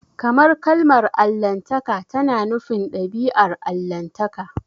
Kamar kalmar Allahntaka tana nufin dabi'ar Allahntaka.